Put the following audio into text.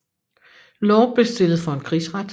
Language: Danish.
Law blev stillet for en krigsret